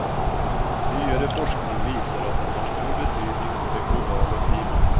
Nyere forskning viser at den har stor betydning for det globale klima.